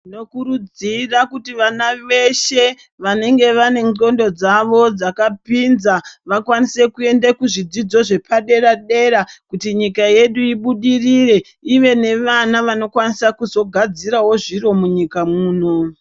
Tinokurudzira kuti vana veshe vanenge vanendxondo dzavo dzakapinza vakwanise kuende kuzvidzidzo zvepadera-dera kuti nyika yedu ibudirire, ive nevana vanokwanisa kuzogadzirawo zviro munyiika mwuno.